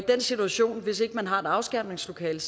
den situation har et afskærmningslokale